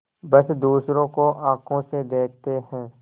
बस दूसरों को आँखों से देखते हैं